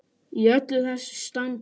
Í öllu þessu standi.